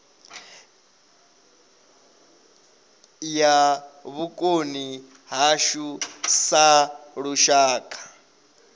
ya vhukoni hashu sa lushaka